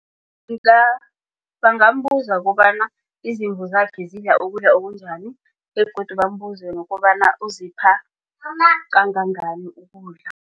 Bangambuza kobana izimvu zakhe zidla ukudla okunjani begodu bambuze nokobana uzipha kangangani ukudla.